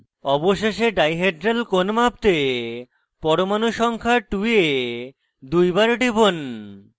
অবশেষে ডাইহেড্রাল কোণ মাপতে পরমাণু সংখ্যা 2 এ দুইবার টিপুন